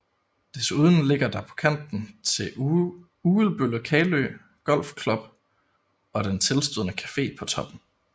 Desuden ligger der på kanten til Ugelbølle Kalø Golf Club og den tilstødende Café på Toppen